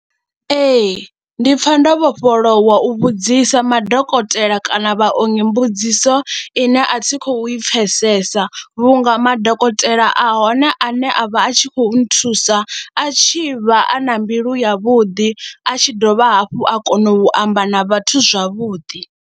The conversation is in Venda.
Ee, ndi pfha ndo vhofholowa u vhudzisa madokotela kana vhaongi mbudziso ine a thi khou i pfhesesa vhunga madokotela a hone ane a vha a tshi khou nthusa a tshi vha a na mbilu yavhuḓi, a tshi dovha hafhu a kona u amba na vhathu zwavhuḓi.